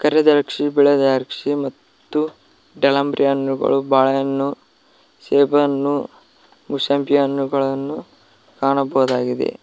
ಕರೆ ದ್ರಾಕ್ಷಿ ಬಿಳೆ ದ್ರಾಕ್ಷಿ ಮತ್ತು ದಾಳಿಂಬರೆ ಹಣ್ಣುಗಳು ಬಾಳೆಹಣ್ಣು ಸೇಬಣ್ಣು ಮೋಸಂಬಿ ಹಣ್ಣುಗಳನ್ನು ಕಾಣಬಹುದಾಗಿದೆ.